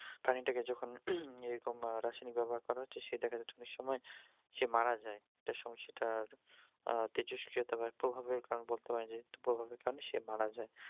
প্রাণীটা কে যখন এরকম আহ রাসায়নিক ব্যবহার করা হচ্ছে দেখা যাচ্ছে অনেক সময় সে মারা যায় এটার সময় সেটার আহ তেজস্ক্রিয়তার প্রভাবে সে মারা যায়